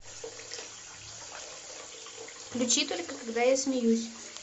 включи только когда я смеюсь